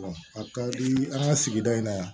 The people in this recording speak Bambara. a ka di an ka sigida in na yan